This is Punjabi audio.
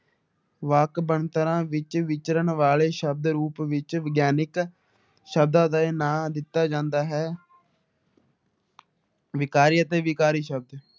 ਵਾਕ ਬਣਤਰਾਂ ਵਿੱਚ ਵਿਚਰਨ ਵਾਲੇ ਸ਼ਬਦ ਰੂਪ ਵਿੱਚ ਵਿਗਿਆਨਕ ਸ਼ਬਦਾਂ ਦੇ ਨਾਂ ਦਿੱਤਾ ਜਾਂਦਾ ਹੈ ਵਿਕਾਰੀ ਅਤੇ ਵਿਕਾਰੀ ਸ਼ਬਦ